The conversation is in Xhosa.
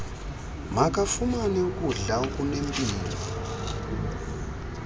makafumane ukudla okunempilo